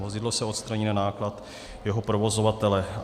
Vozidlo se odstraní na náklad jeho provozovatele.